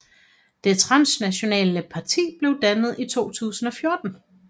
Det transnationale parti blev dannet i 2014